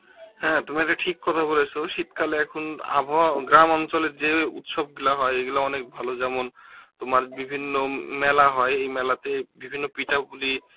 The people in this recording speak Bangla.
হ্যাঁ তুমি এটা ঠিক কথা বলেছ শীতকালে এখন আবহাওয়া গ্রামাঞ্চলে যে উৎসবগুলো হয় এগুলো অনেক ভালো যেমন, তোমার বিভিন্ন মেলা হয় এই মেলাতে বিভিন্ন পিঠাপুলি